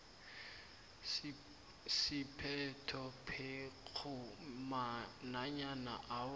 siphethophekghu nanyana awa